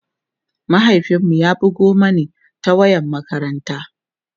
mahaifin mu ya bugo Mani ta wayar makaranta